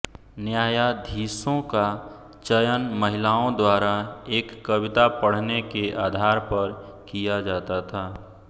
न्यायाधीशों का चयन महिलाओं द्वारा एक कविता पढ़ने के आधार पर किया जाता था